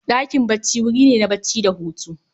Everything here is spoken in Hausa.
Ɗakin bacci wuri ne na bacci da Hutu